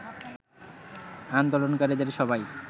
আন্দোলনকারীদের সবাই